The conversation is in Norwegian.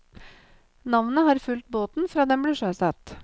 Navnet har fulgt båten fra den ble sjøsatt.